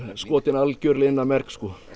skotið alveg inn að merg